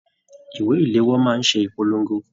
Ìwé iléwọ́ máa n ṣe ìpolongo.